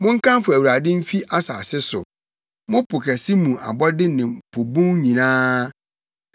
Monkamfo Awurade mfi asase so, mo po kɛse mu abɔde ne po bun nyinaa,